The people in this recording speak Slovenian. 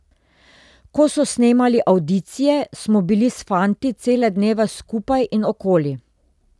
Ko so snemali avdicije, smo bili s fanti cele dneve skupaj in okoli.